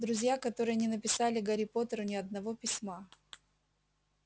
друзья которые не написали гарри поттеру ни одного письма